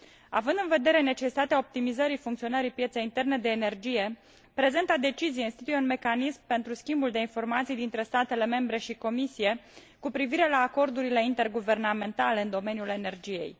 Având în vedere necesitatea optimizării funcționării pieței interne de energie, prezenta decizie instituie un mecanism pentru schimbul de informații dintre statele membre și Comisie cu privire la acordurile interguvernamentale în domeniul energiei.